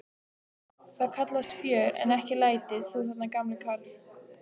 Það kallast fjör en ekki læti, þú þarna gamli karl.